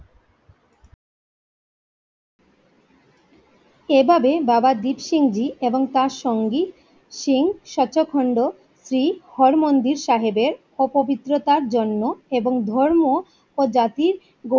এভাবে বাবা দীপসিং জি তার সঙ্গী সিং সচোখণ্ড শ্রী হর মন্দর সাহেবের অপবিত্রতার জন্য এবং ধর্ম ও জাতির